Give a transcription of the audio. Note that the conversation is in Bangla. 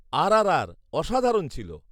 -আরআরআর, অসাধারণ ছিল।